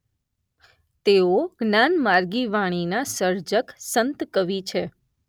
તેઓ જ્ઞાનમાર્ગી વાણીનાં સર્જક સંતકવિ છે.